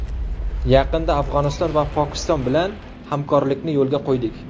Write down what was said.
Yaqindan Afg‘oniston va Pokiston bilan hamkorlikni yo‘lga qo‘ydik.